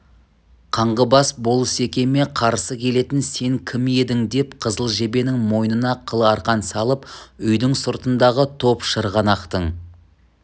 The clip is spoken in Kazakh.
қаңғыбас болысекеме қарсы келетін сен кім едің деп қызыл жебенің мойнына қыл арқан салып үйдің сыртындағы топ шырғанақтың